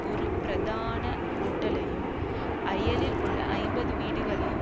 ஒரு பிரதான ஹோட்டலையும் அயலில் உள்ள ஐம்பது வீடுகளையும்